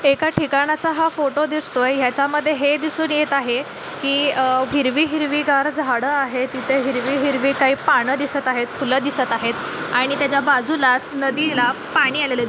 एका ठिकाणाचा हा फोटो दिसतोय याच्या मध्ये हे दिसून येत आहे की अह हिरवी हिरवीगार झाडं आहेत इथं हिरवी-हिरवी काही पानं दिसत आहेत फुलं दिसत आहेत आणि त्याच्या बाजूलाच नदीला पाणी आलेला --